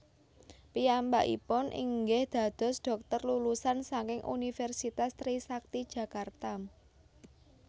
Piyambakipun inggih dados dhokter lulusan saking Universitas Trisakti Jakarta